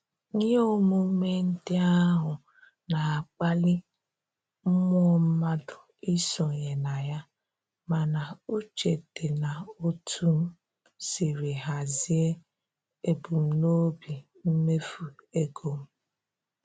Ihe emume ndị ahụ na-akpali mmụọ mmadụ isonye na ya, mana uche dị n'otu m sirila hazie ebumnobi mmefu ego m